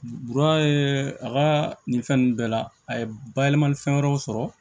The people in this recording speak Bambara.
a ka nin fɛn ninnu bɛɛ la a ye bayɛlɛmali fɛn wɛrɛw sɔrɔ